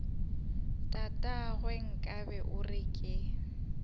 tatagwe nkabe o re ke